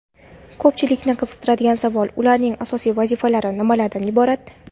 Ko‘pchilikni qiziqtiradigan savol - ularning asosiy vazifalari nimalardan iborat?.